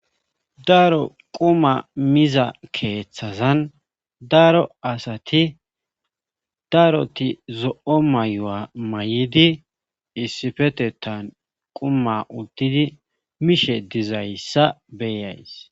daro quma miza keeththazan daro asati daroti zo7o mayuwa may7idi issifetetan quma uttidi mishe dizayssa beeyays